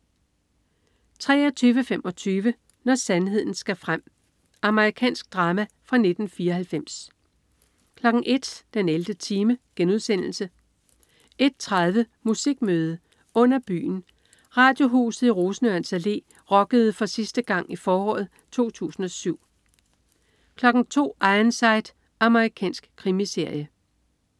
23.25 Når sandheden skal frem. Amerikansk drama fra 1994 01.00 den 11. time* 01.30 Musikmøde: Under Byen. Radiohuset i Rosenørns Allé rockede for sidste gang i foråret 2007 02.00 Ironside. Amerikansk krimiserie